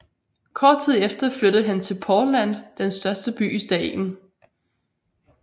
Kort tid efter flyttede han til Portland den største by i staten